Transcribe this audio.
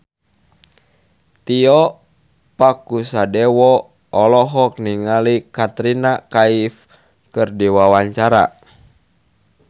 Tio Pakusadewo olohok ningali Katrina Kaif keur diwawancara